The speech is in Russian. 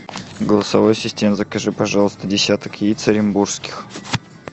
голосовой ассистент закажи пожалуйста десяток яиц оренбургских